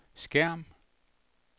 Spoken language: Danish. skærm